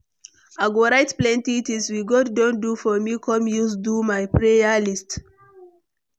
I go write plenty things we God don do for me come use do my prayer list.